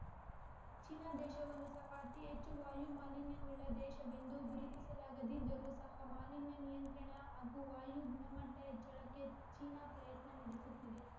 China ದೇಶವನ್ನೂ ಸಹ ಅತಿ ಹೆಚ್ಚು ವಾಯು ಮಾಲಿನ್ಯವುಳ್ಳ ದೇಶವೆಂದು ಗುರುತಿಸಲಾಗಿದ್ದರೂ ಸಹ ಮಾಲಿನ್ಯ ನಿಯಂತ್ರಣ ಹಾಗೂ ವಾಯು ಗುಣಮಟ್ಟ ಹೆಚ್ಚಳಕ್ಕೆ ಚೀನಾ ಪ್ರಯತ್ನ ನ‌ಡೆಸುತ್ತಿದೆ